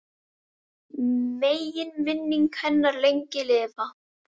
Megi minning hennar lengi lifa.